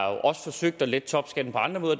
også forsøgt at lette topskatten på andre måder